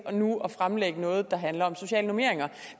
nu at fremlægge noget der handler om sociale normeringer